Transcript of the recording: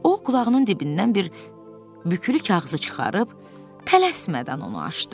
O, qulağının dibindən bir bükülü kağızı çıxarıb tələsmədən onu açdı.